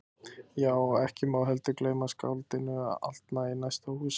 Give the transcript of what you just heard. Já, og ekki má heldur gleyma skáldinu aldna í næsta húsi.